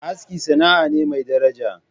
Aski sana'a ne mai daraja.